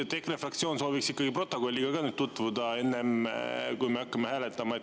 EKRE fraktsioon sooviks ikkagi protokolliga ka nüüd tutvuda, enne kui me hakkame hääletama.